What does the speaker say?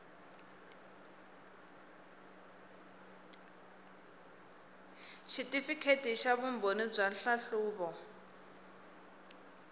xitifikheti xa vumbhoni bya nhlahluvo